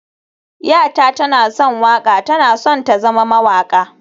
yata tana son waƙa, tana son ta na zama mawaƙa